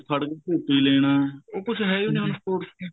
ਖੜ ਕੇ ਝੂਟੇ ਲੈਣਾ ਉਹ ਕੁੱਝ ਹੈ ਈ ਓ ਨਹੀਂ ਹੁਣ sports ਚ